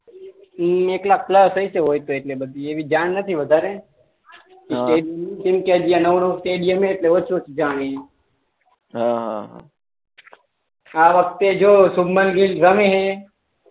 અમ એક લાખ પ્લસ હોય તો હોય એટલે બધી એવી જાણ નથી વધારે હા ક્રિકેટ ટીમ કે સ્ટેડીયમ હે એટલે ઓછો જાની આ વખતે જો શુભમન ગીલ રમે હે